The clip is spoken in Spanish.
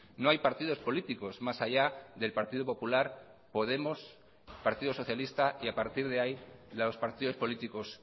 no hay partidos políticos más allá del partido popular podemos partido socialista y a partir de ahí los partidos políticos